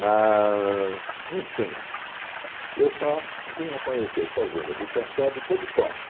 Mas, enfim, eu só vim a conhecer fazenda de Café depois de pronta.